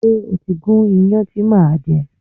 Ṣé o ti gún iyán ti a máa je?